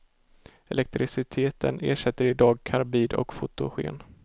Elektriciteten ersätter i dag karbid och fotogen.